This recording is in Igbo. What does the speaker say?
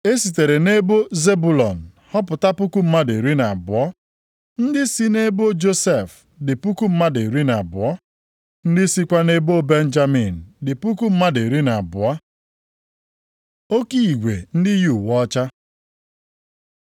E sitere nʼebo Zebụlọn họpụta puku mmadụ iri na abụọ (12,000). Ndị si nʼebo Josef dị puku mmadụ iri na abụọ (12,000). Ndị sikwa nʼebo Benjamin dị puku mmadụ iri na abụọ (12,000). Oke igwe ndị yi uwe ọcha